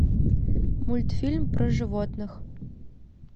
мультфильм про животных